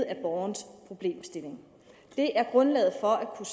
af borgerens problemstilling det er grundlaget for at kunne